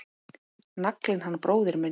Naglinn hann bróðir minn.